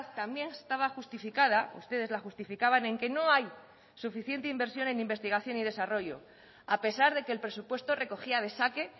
también estaba justificada ustedes la justificaban en que no hay suficiente inversión en investigación y desarrollo a pesar de que el presupuesto recogía de saque